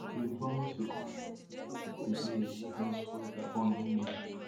e bin promise to comot to comot di ill wey don spoil gabon image